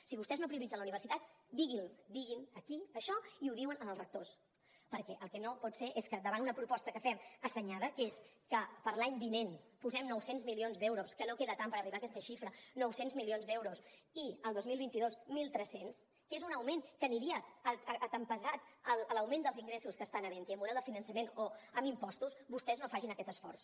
si vostès no prioritzen la universitat diguin aquí això i ho diuen als rectors perquè el que no pot ser és que davant una proposta que fem assenyada que és que per a l’any vinent posem nou cents milions d’euros que no queda tant per arribar a aquesta xifra nou cents milions d’euros i el dos mil vint dos mil tres cents que és un augment que aniria compassat a l’augment dels ingressos que estan havent hi amb el model de finançament o amb impostos vostès no facin aquest esforç